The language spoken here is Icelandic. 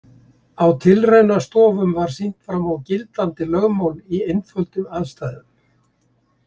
Á tilraunastofum var sýnt fram á gildandi lögmál í einföldum aðstæðum.